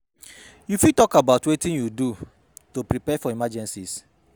You fit talk about wetin you do to prepare for emergencies?